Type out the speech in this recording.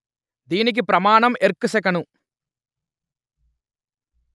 దీనికి ప్రమాణం ఎర్గ్/సెకను